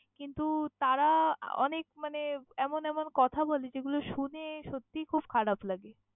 কিন্তু তারা অনেক মানে এমন এমন কথা বলে যেগুলো শুনে সত্যি খুব খারাপ লাগে!